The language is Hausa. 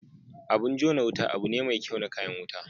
Abin jona Wuta abu ne me kyau na kayan wuta.